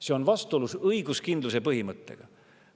See on vastuolus õiguskindluse põhimõttega!